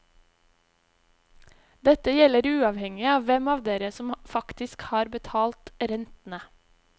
Dette gjelder uavhengig av hvem av dere som faktisk har betalt rentene.